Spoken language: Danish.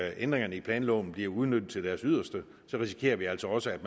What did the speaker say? ændringerne i planloven bliver udnyttet til deres yderste så risikerer vi altså også at